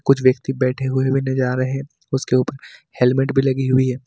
कुछ व्यक्ति बैठे हुए भी नहीं जा रहे हैं उसके ऊपर हेलमेट भी लगी हुई है।